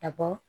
Ka bɔ